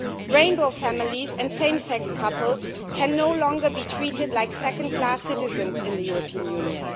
Rainbow families and same sex couples can no longer be treated like second class citizens in the European Union.